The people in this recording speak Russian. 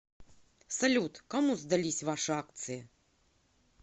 салют кому сдались ваши акции